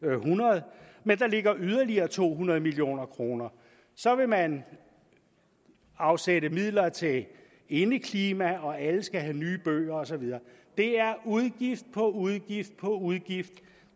være hundrede men der ligger yderligere to hundrede million kroner så vil man afsætte midler til indeklima og alle skal have nye bøger og så videre det er udgift udgift på udgift